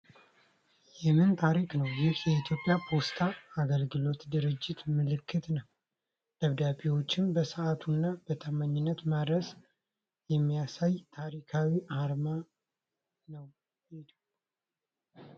የምን ታሪክ ነው! ይህ የኢትዮጵያ ፖስታ አገልግሎት ድርጅት ምልክት ነው ! ደብዳቤዎችን በሰዓቱና በታማኝነት ማድረስን የሚያሳይ ታሪካዊ አርማ ነው ።